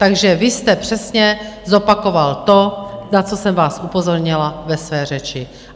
Takže vy jste přesně zopakoval to, na co jsem vás upozornila ve své řeči.